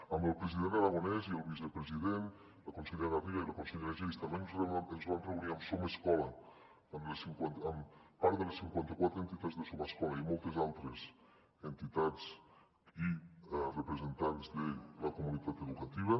amb el president aragonès i el vicepresident la consellera garriga i la consellera geis també ens vam reunir amb somescola amb part de les cinquanta quatre entitats de somescola i moltes altres entitats i representants de la comunitat educativa